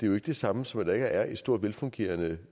jo ikke det samme som at der ikke allerede er et stort velfungerende